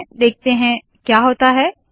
देखते है क्या होता है